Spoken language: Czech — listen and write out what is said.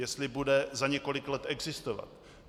Jestli bude za několik let existovat.